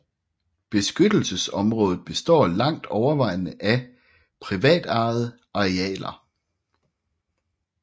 Beskyttelsesområdet består langt overvejende af privatejede arealer